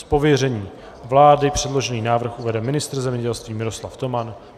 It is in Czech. Z pověření vlády předložený návrh uvede ministr zemědělství Miroslav Toman.